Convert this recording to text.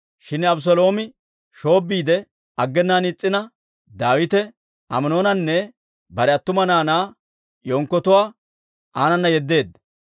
Shin Abeseeloomi shoobbiide aggenaan is's'ina, Daawite Aminoonanne bare attuma naanaa yenkkotuwaa aanana yeddeedda.